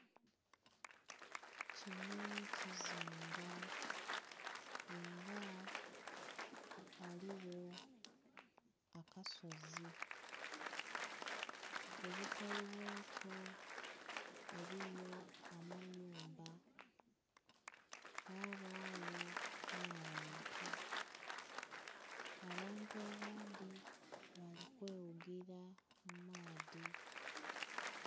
Kino kizinga era ghaligho akasozi kubukalu bwakyo eriyo amayumba, yabayo n'abantu. Abantu abandhi balikweghugira mumaadhi.